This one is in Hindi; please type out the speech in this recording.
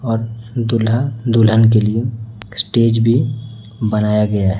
और दूल्हा दुल्हन के लिए स्टेज भी बनाया गया है।